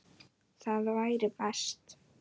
Það væri best.